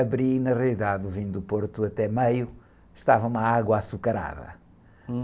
Abri e na realidade o vinho do Porto até meio estava uma água açucarada.